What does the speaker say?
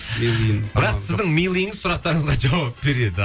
бірақ сіздің милыйыңыз сұрақтарыңызға жауап береді